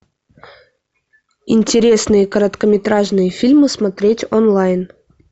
интересные короткометражные фильмы смотреть онлайн